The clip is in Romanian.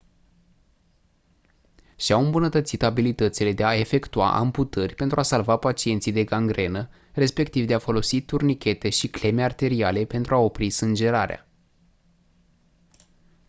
și-au îmbunătățit abilitățile de a efectua amputări pentru a salva pacienții de gangrenă respectiv de a folosi turnichete și cleme arteriale pentru a opri sângerarea